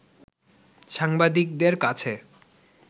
সাংবাদিকদের কাছে